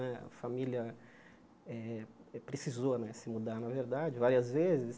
Né a família eh precisou né se mudar, na verdade, várias vezes.